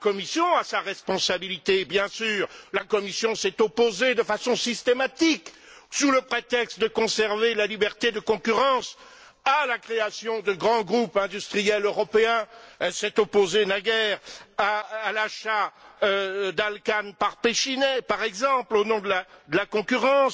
La Commission a sa responsabilité bien sûr. Elle s'est opposée de façon systématique, sous le prétexte de conserver la liberté de concurrence, à la création de grands groupes industriels européens, elle s'est opposée naguère à l'achat d'Alcan par Pechiney, par exemple, au nom de la concurrence.